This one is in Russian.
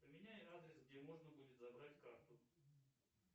поменяй адрес где можно будет забрать карту